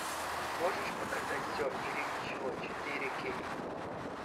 можешь показать все или ничего четыре кей